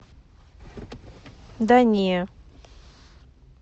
да не